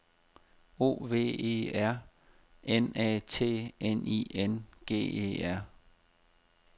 O V E R N A T N I N G E R